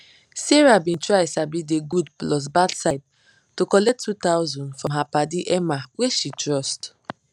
sarah bin try sabi de good plus bad side to collect 2000 from her padi emma wey she trust